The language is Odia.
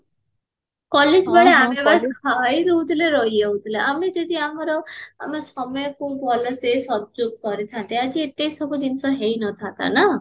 college ବେଳେ ଆମେ ବାସ ଖାଇଦଉଥିଲେ ରହିଯାଉଥିଲେ ଆମେ ଯଦି ଆମର ଆମ ସମୟକୁ ଭଲସେ କରିଥାନ୍ତେ ଆଜି ଏତେ ସବୁ ଜିନଷ ହେଇନଥାନ୍ତା ନା